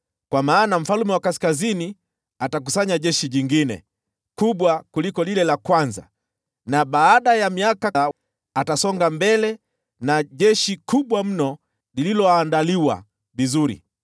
Kwa maana mfalme wa Kaskazini atakusanya jeshi jingine kubwa kuliko lile la kwanza; na baada ya miaka kadha, atasonga mbele na jeshi kubwa mno lililoandaliwa vizuri.